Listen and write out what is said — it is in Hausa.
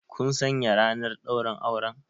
Kun sanya ranar ɗaurin auren?